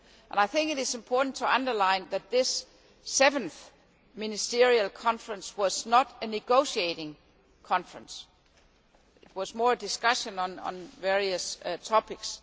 I think it is important to underline that this Seventh Ministerial Conference was not a negotiating conference it was more a discussion on various topics.